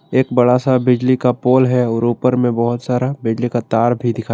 एक बड़ा सा बिजली का पोल है और ऊपर में बहौत सारा बिजली का तार भी दिखाई--